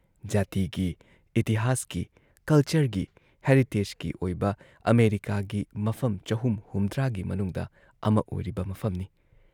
ꯖꯥꯇꯤꯒꯤ, ꯏꯇꯤꯍꯥꯁꯀꯤ, ꯀꯜꯆꯔꯒꯤ ꯍꯦꯔꯤꯇꯦꯖꯀꯤ ꯑꯣꯏꯕ ꯑꯃꯦꯔꯤꯀꯥꯒꯤ ꯃꯐꯝ ꯳꯷꯰ ꯒꯤ ꯃꯅꯨꯡꯗ ꯑꯃ ꯑꯣꯏꯔꯤꯕ ꯃꯐꯝꯅꯤ ꯫